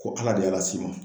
Ko ala de y'a las'i ma